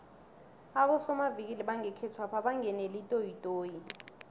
abosomavikili bangekhethwapha bangenele itoyitoyi